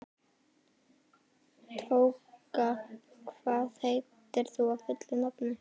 Tóka, hvað heitir þú fullu nafni?